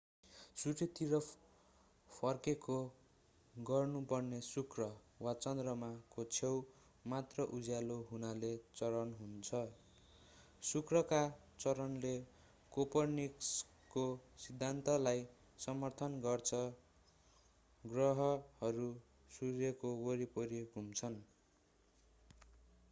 सूर्यतिर फर्केको गर्नु पर्ने शुक्र वा चन्द्रमा को छेउ मात्र उज्यालो हुनाले चरण हुन्छन्। शुक्रका चरणले कोपरनिकसको सिद्धान्तलाई समर्थन गर्छ ग्रहहरू सूर्यको वरिपरि घुम्छन्।